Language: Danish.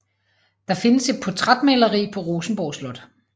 Der findes et portrætmaleri på Rosenborg Slot